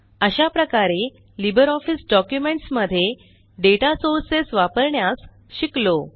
अशाप्रकारे LibreOffice documents मध्ये data sources वापरण्यास शिकलो